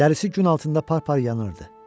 Dərisi gün altında par-par yanırdı.